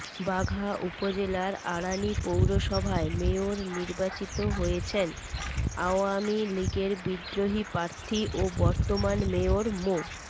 বাঘা উপজেলার আড়ানী পৌরসভায় মেয়র নির্বাচিত হয়েছেন আওয়ামী লীগের বিদ্রোহী প্রার্থী ও বর্তমান মেয়র মো